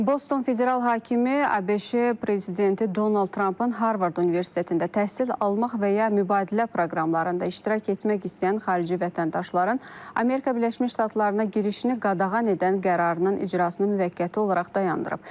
Boston Federal hakimi ABŞ-a, prezidenti Donald Trampın Harvard Universitetində təhsil almaq və ya mübadilə proqramlarında iştirak etmək istəyən xarici vətəndaşların Amerika Birləşmiş Ştatlarına girişini qadağan edən qərarının icrasını müvəqqəti olaraq dayandırıb.